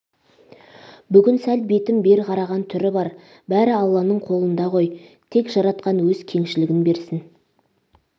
бүгін сәл бетім бер қараған түр бар бәрі алланың қолындағы қой тек жаратқан өз кеңшілігін берсін